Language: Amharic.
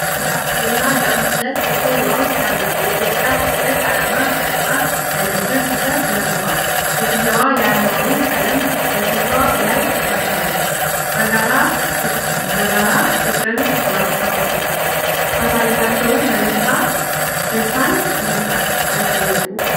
የቴዲአፍሮ እና ያምለሴት ፎቶ ዋው ሲያምር። የኢትዮጵያ ሰንደቅ ዓላማ ቀለማት ያለበት ቲሸርት ለብሰዋል። ሴትየዋ የዓርማውን ቀለማት በፊቷ ላይ ተቀብታለች። በጋራ ፍቅርን ማሳየታቸው ደስታን ይፈጥራል። ሲያስደንቁ።